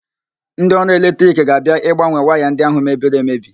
Ndị ọrụ eletrik ga-abia ịgbanwe waya ndị ahụ mebiri emebi.